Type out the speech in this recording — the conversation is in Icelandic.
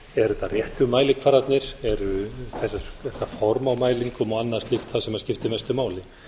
eru þetta réttu mælikvarðarnir eru þetta form á mælingum og annað slíkt það sem skiptir mestu máli